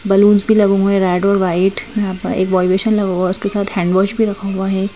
Balloons भी लगे हुए रेड और व्हाइट यहां पे बॉडी लोशन लगा हुआ है उसके साथ हैंड वॉश भी रखा हुआ है।